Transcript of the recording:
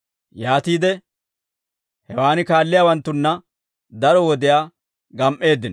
Yaatiide hewaan kaalliyaawanttunna daro wodiyaa gam"eeddino.